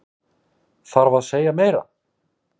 Þarf að segja meira?